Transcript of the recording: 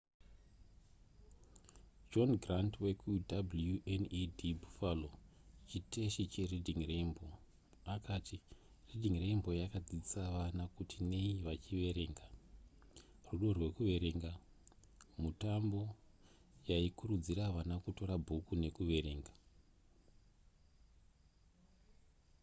john grant wekuwned buffalo chiteshi chereading rainbow akati reading rainbow yakadzidzisa vana kuti nei vachiverenga,... rudo rwekuverenga -[mutambo] yaikurudzira vana kutora bhuku nekuverenga